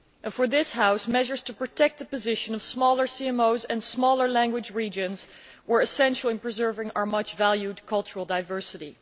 For this House, measures to protect the position of smaller CMOs and smaller language regions were essential in preserving our much valued cultural diversity.